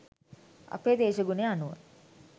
අපේ දේශගුණය අනුව